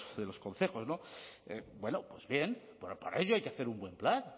de los concejos bueno pues bien para ello hay que hacer un buen plan